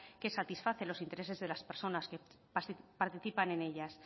que satisface los intereses de las personas que participan en ellas